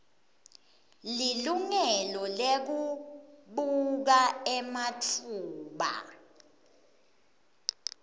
lilungelo lekubuka ematfuba